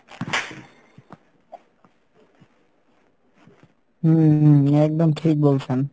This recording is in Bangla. হম একদম ঠিক বলছেন।